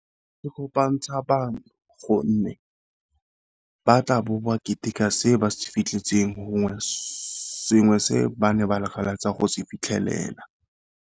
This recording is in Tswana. E kopantsha bangwe gonne ba tla bo ba keteka se ba se fitlhetseng, gongwe sengwe se ba ne ba lakatsa go se fitlhelela.